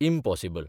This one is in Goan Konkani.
इम्पॉसिबल !